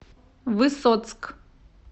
высоцк